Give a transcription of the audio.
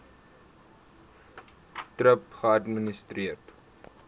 thrip geadministreer